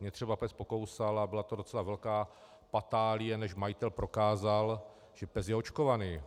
Mě třeba pes pokousal a byla to docela velká patálie, než majitel prokázal, že pes je očkovaný.